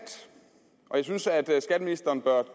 og jeg synes at skatteministeren bør